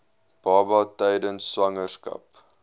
baba tydens swangerskap